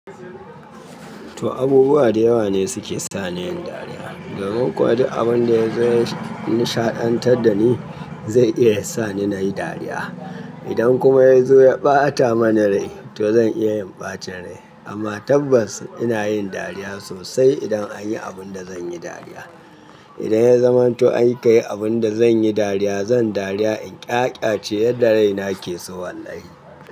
To abubuwa da yawa ne suke sa ni yin dariya. Garin Kwari abun da zai nishaɗantar da ni zai iya sa ni nayi dariya. Idan kuma ya zo ya ɓata mana rai to zan iya yin ɓacin rai amma tabbas ina yin dariya sosai idan an yi abun da zan yi dariya. Idan ya zama to an kai abun da zan yi dariya zan dariya in ƙyaƙya ce yadda raina ke so wallahi.